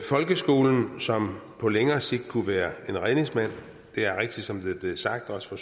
folkeskolen som på længere sigt kunne være en redningsmand det er rigtigt som det er blevet sagt også af